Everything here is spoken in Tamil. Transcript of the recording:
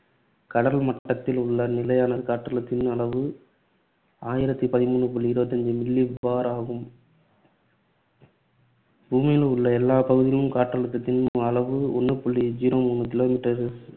கடல் மட்டத்தில் உள்ள நிலையான காற்றழுத்தத்தின் அளவு ஆயிரத்து பதிமூணு புள்ளி இருபத்தி அஞ்சு milli bar ஆகும். பூமியில் உள்ள எல்லாப் பகுதிகளிலும் காற்றழுத்தத்தின் அளவு ஒண்ணு புள்ளி zero மூணு kilometer